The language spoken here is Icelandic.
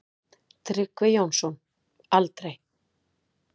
Tryggvi Jónsson: Aldrei.